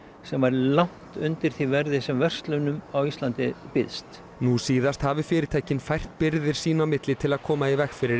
sem var langt undir því verði sem verslunum á Íslandi býðst nú síðast hafi fyrirtækin fært birgðir sín á milli til að koma í veg fyrir